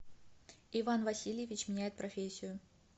иван васильевич меняет профессию